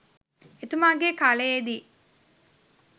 එතුමා ගේ කාලයේ දී